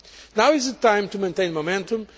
Now is the time to maintain momentum.